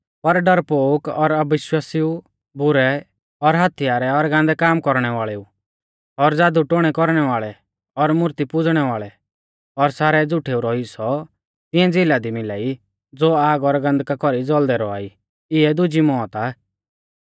पर डरपोक और अविश्वासिऊ बुरै और हत्यारै और गान्दै काम कौरणै वाल़ेऊ और ज़ादुटोन्है कौरणै वाल़ै और मूर्ती पुज़णै वाल़ै और सारै झ़ुठेऊ रौ हिस्सौ तिऐं झ़िला दी मिला ई ज़ो आग और गन्धका कौरी ज़ौल़दै रौआ ई इऐ दुजी मौत आ